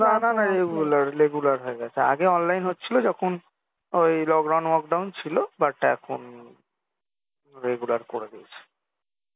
না না না regular regular হয়ে গেছে আগে online হচ্ছিলো যখন ওই lock down ফক down ছিলো but এখন regular করে দিয়েছে